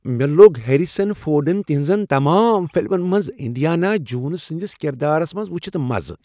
مےٚ لوٚگ ہیریسن فورڈن تہنٛزن تمام فلمن منٛز انڈیانا جونز سٕنٛدس کردارس منٛز وٕچھتھ مزٕ۔